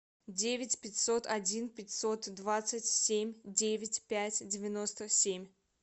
девять пятьсот один пятьсот двадцать семь девять пять девяносто семь